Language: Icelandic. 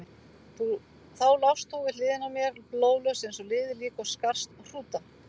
Þá lást þú við hliðina á mér, blóðlaus eins og liðið lík og skarst hrúta.